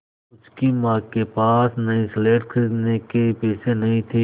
उसकी माँ के पास नई स्लेट खरीदने के पैसे नहीं थे